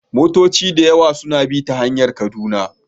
Motoci da yawa suna bi ta hanyar Kaduna